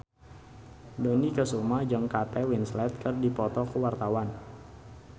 Dony Kesuma jeung Kate Winslet keur dipoto ku wartawan